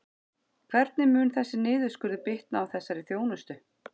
Hvernig mun þessi niðurskurður bitna á þessari þjónustu?